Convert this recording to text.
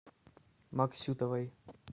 максютовой